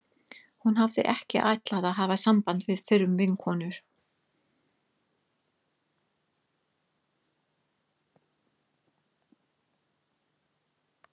Hún hafði ekki ætlað að hafa samband við fyrrum vinkonur